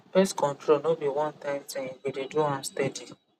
pest control no be onetime thing you go dey do am steady